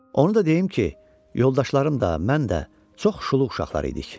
Onu da deyim ki, yoldaşlarım da, mən də çox şuluq uşaqlar idik.